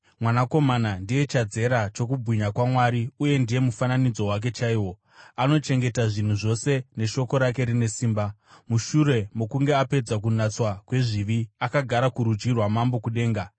Mwanakomana ndiye chadzera chokubwinya kwaMwari uye ndiye mufananidzo wake chaiwo, anochengeta zvinhu zvose neshoko rake rine simba. Mushure mokunge apedza kunatswa kwezvivi, akagara kurudyi rwamambo kudenga.